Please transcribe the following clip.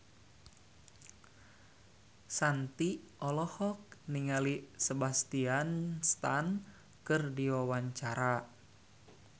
Shanti olohok ningali Sebastian Stan keur diwawancara